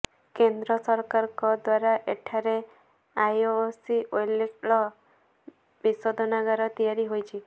କେନ୍ଦ୍ର ସରକାରଙ୍କ ଦ୍ୱାରା ଏଠାରେ ଆଇଓସିଏଲ୍ତୈଳ ବିଶୋଧନାଗାର ତିଆରି ହୋଇଛି